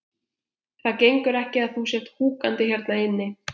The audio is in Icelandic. Það gengur ekki að þú sért húkandi hérna inni.